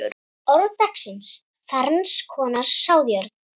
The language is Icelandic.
Orð dagsins Ferns konar sáðjörð